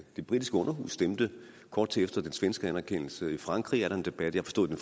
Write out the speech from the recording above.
det britiske underhus stemte kort tid efter den svenske anerkendelse og i frankrig er der en debat jeg forstod at